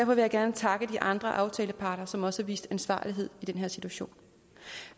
vil jeg gerne takke de andre aftaleparter som også har vist ansvarlighed i den her situation